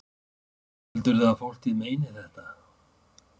Heldurðu að fólkið meini þetta?